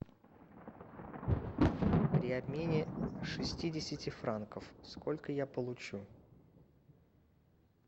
при обмене шестидесяти франков сколько я получу